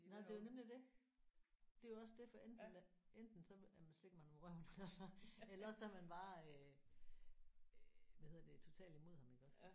Nej det er jo nemlig det. Det er jo også det for enten er enten så er man slet ikke man må røre ham eller også så eller også så er man bare øh øh hvad hedder det totalt imod ham iggås